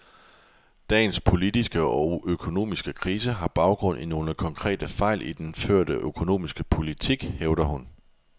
Dagens politiske og økonomiske krise har baggrund i nogle konkrete fejl i den førte økonomiske politik, hævder hun.